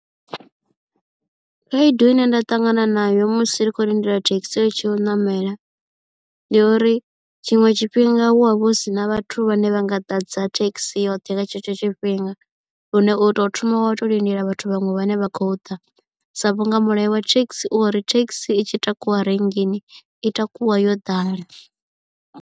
Khaedu ine nda ṱangana nayo musi ri khou lindela thekhisi ri tshiyo u ṋamela ndi uri tshiṅwe tshifhinga hu ha vha hu si na vhathu vhane vha nga ḓadza thekhisi yoṱhe nga tshetsho tshifhinga lune u to thoma wa to lindela vhathu vhaṅwe vhane vha khou ḓa sa vhunga mulayo wa thekhisi uri thekhisi i tshi takuwa rinngini i takuwa yo ḓala.